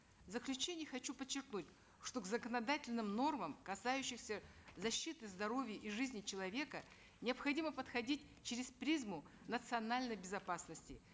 в заключении хочу подчеркнуть что к законодательным нормам касающимся защиты здоровья и жизни человека необходимо подходить через призму национальной безопасности